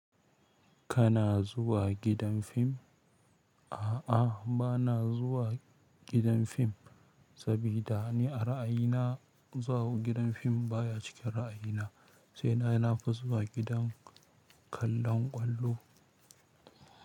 Kana zuwa gidan fim? A'a, ba na zuwa gidan fim, sabida ni a ra'ayina zuwa gidan fim baya cikin ra'ayina. Sai dai na fi zuwa gidan kallon ƙwallo.